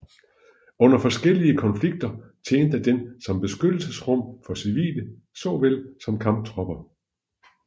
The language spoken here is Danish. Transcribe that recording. Under forskellige konflikter tjente den som beskyttelsesrum for civile såvel som kamptropper